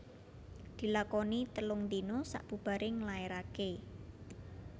Dilakoni telung dina sabubaré nglaéraké